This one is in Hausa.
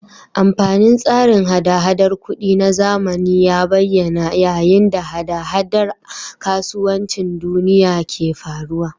Amfanin tsarin hada-hadar kuɗi na zamani ya bayyana yayin da hada-hadar kasuwancin duniya ke faruwa.